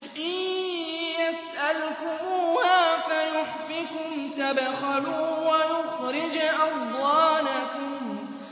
إِن يَسْأَلْكُمُوهَا فَيُحْفِكُمْ تَبْخَلُوا وَيُخْرِجْ أَضْغَانَكُمْ